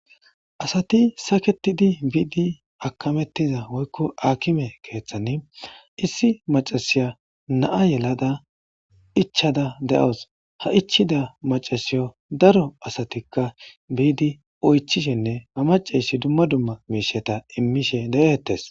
asati saketidi biidi akamettiza woykko akime keeththani issi macasiya naa yelada ichada de7os ha ichida macasiyo daro asatikka biidi oychishinne ha maceyshi dumma dumma miisheta immishe de'eettes